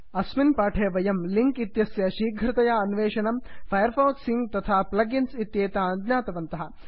अस्मिन् पाठे वयं लिङ्क् इत्यस्य शीघ्रतया अन्वेषणं फैर् फाक्स् सिङ्क् तथा प्लग् इन्स् इत्येतान् ज्ञातवन्तः